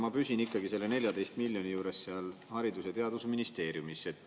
Ma püsin ikkagi selle 14 miljoni juures seal Haridus- ja Teadusministeeriumis.